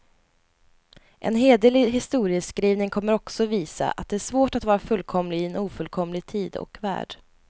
En hederlig historieskrivning kommer också visa, att det är svårt att vara fullkomlig i en ofullkomlig tid och värld.